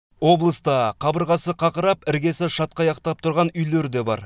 облыста қабырғасы қақырап іргесі шатқаяқтап тұрған үйлер де бар